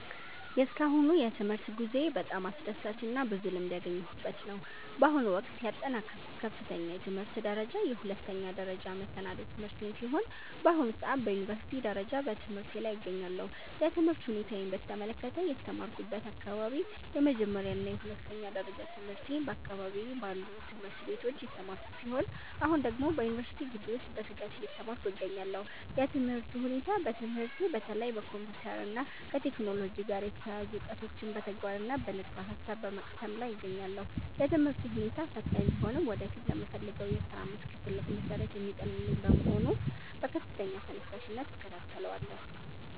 የእስካሁኑ የትምህርት ጉዞዬ በጣም አስደሳችና ብዙ ልምድ ያገኘሁበት ነው። በአሁኑ ወቅት ያጠናቀቅኩት ከፍተኛ የትምህርት ደረጃ የሁለተኛ ደረጃና መሰናዶ ትምህርቴን ሲሆን፣ በአሁኑ ሰዓት በዩኒቨርሲቲ ደረጃ በትምህርቴ ላይ እገኛለሁ። የትምህርት ሁኔታዬን በተመለከተ፦ የተማርኩበት አካባቢ፦ የመጀመሪያና የሁለተኛ ደረጃ ትምህርቴን በአካባቢዬ ባሉ ትምህርት ቤቶች የተማርኩ ሲሆን፣ አሁን ደግሞ በዩኒቨርሲቲ ግቢ ውስጥ በትጋት እየተማርኩ እገኛለሁ። የትምህርቱ ሁኔታ፦ በትምህርቴ በተለይ ከኮምፒውተር እና ከቴክኖሎጂ ጋር የተያያዙ እውቀቶችን በተግባርና በንድፈ-ሐሳብ በመቅሰም ላይ እገኛለሁ። የትምህርቱ ሁኔታ ፈታኝ ቢሆንም ወደፊት ለምፈልገው የሥራ መስክ ትልቅ መሠረት የሚጥልልኝ በመሆኑ በከፍተኛ ተነሳሽነት እከታተለዋለሁ።